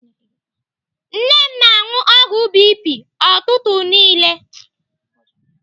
Nne m na-anụ ọgwụ BP ụtụtụ niile.